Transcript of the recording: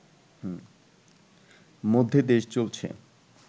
মধ্যে দেশ চলছে